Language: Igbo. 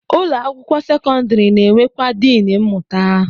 Ụlọ akwụkwọ sekọndịrị na-enwekwa diin mmụta